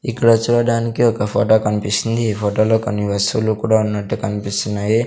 ఇక్కడ చూడడానికి ఒక ఫోటో కనిపిస్తుంది ఈ ఫోటోలో కొన్ని వస్తువులు కూడా ఉన్నట్టు కనిపిస్తున్నాయి.